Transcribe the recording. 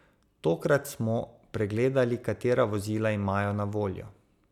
Tokrat smo pregledali, katera vozila imajo na voljo.